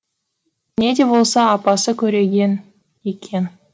не де болса апасы көреген екен